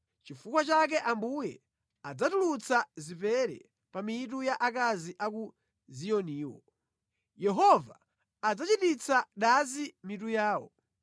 Nʼchifukwa chake Ambuye, adzatulutsa zipere pa mitu ya akazi a ku Ziyoniwo; Yehova adzachititsa dazi mitu yawo.”